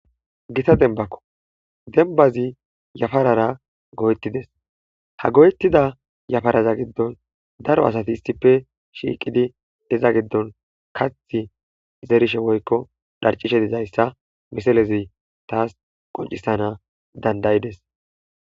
gita denbakko, denbazi yafarara go7etides, ha goyettida yafaraza giddon daro asati issippe shiiqidi iza giddon kathi zerishe woykko dharcishe dizayssa miselezi taas qoncisana dandayides